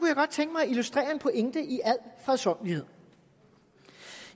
jeg godt tænke mig at illustrere en pointe i al fredsommelighed